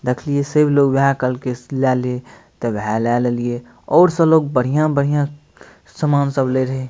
देखलिये सेब लो वेहे कलर के लेले तय वेहे ले लेलिये और सब लोग बढ़िया-बढ़िया सामान सब ले रहे।